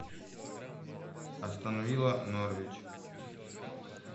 астон вилла норвич